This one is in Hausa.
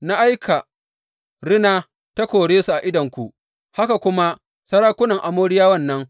Na aika rina ta kore su a idonku, haka kuma sarakunan Amoriyawan nan.